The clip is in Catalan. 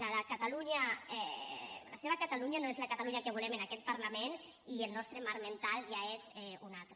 la seva catalunya no és la catalunya que volem en aquest parlament i el nostre marc mental ja és un altre